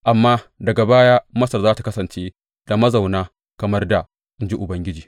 Amma daga baya, Masar za tă kasance da mazauna kamar dā, in ji Ubangiji.